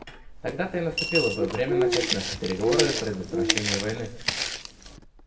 тогда-то и наступило бы время начать наши переговоры о предотвращении войны